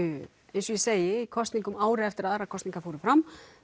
eins og ég segi í kosningum ári eftir að aðrar kosningar fóru fram